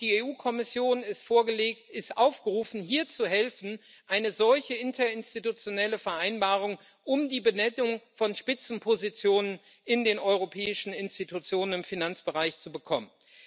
Und die Kommission ist aufgerufen, hier zu helfen, eine solche interinstitutionelle Vereinbarung über die Besetzung von Spitzenpositionen in den europäischen Institutionen im Finanzbereich zu bekommen.